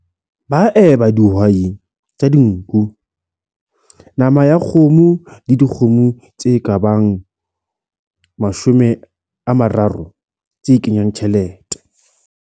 Ba eba dihwai tsa dinku, nama ya kgomo le dikgomo tsa lebese tse ka bang 30 tse kenyang tjhelete.